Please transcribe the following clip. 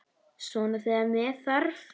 Svona þegar með þarf.